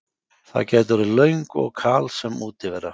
Það gæti orðið löng og kalsöm útivera.